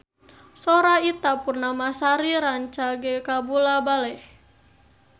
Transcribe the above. Sora Ita Purnamasari rancage kabula-bale